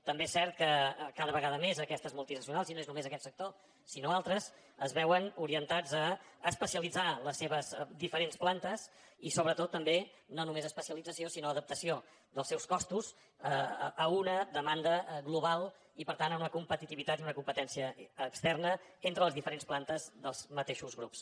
també és cert que cada vegada més aquestes multinacionals i no és només aquest sector sinó altres es veuen orientades a especialitzar les seves diferents plantes i sobretot també no només especialització sinó adaptació dels seus costos a una demanda global i per tant a una competitivitat i una competència externa entre les diferents plantes dels mateixos grups